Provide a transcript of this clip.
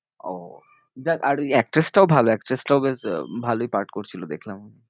ও দেখ আর ওই actress টাও actress টাও বেশ আহ ভালোই পাঠ করছিলো দেখলাম।